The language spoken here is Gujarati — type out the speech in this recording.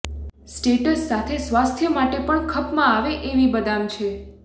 સ્ટેટસ સાથે સ્વાસ્થ્ય માટે પણ ખપમાં આવે એવી બદામ છે